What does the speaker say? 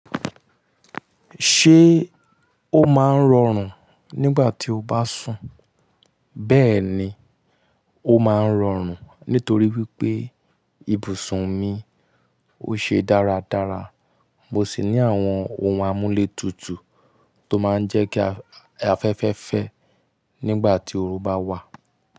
Ṣé o máa ń rọrùn nígbà tí o bá sùn? Bẹ́ẹ̀ni, ó máa ń rọrùn nítorí wípé ibùsùn mi ó ṣe dáradára. Mo sì ní àwọn ohun amúlétutù tó máa ń jẹ́ kí afẹ́fẹ́ fẹ́ nígbà tí oru bá wà.